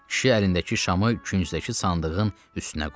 Kişi əlindəki şamı küncdəki sandığın üstünə qoydu.